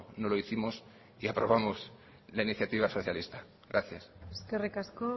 no lo hicimos y aprobamos la iniciativa socialista gracias eskerrik asko